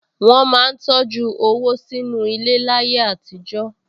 Wọ́n máa ń tọjú owó sínú ilẹ̀ láyé àtijọ́